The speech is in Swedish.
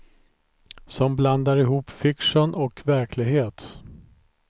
Som blandar ihop fiktion och verklighet.